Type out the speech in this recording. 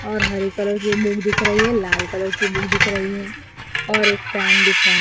और हरे कलर की बुक दिख रही है लाल कलर की बुक दिख रही है और पेन दिख रहा --